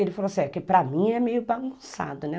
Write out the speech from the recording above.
Ele falou assim, é que para mim é meio bagunçado, né?